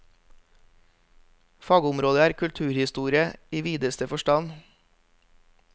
Fagområdet er kulturhistorie i videste forstand.